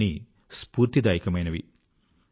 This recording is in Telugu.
ఇవి అన్నీ స్ఫూర్తిదాయకమైనవి